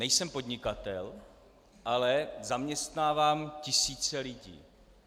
Nejsem podnikatel, ale zaměstnávám tisíce lidí.